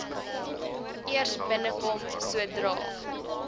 eers binnekom sodra